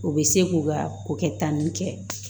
U bɛ se k'u ka ko kɛ tan nin kɛ